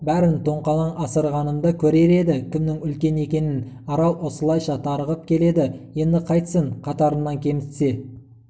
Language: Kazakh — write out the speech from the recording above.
бәрін тоңқалаң асырғанымда көрер еді кімнің үлкен екенін арал осылайша тарығып келеді енді қайтсін қатарынан кемітсе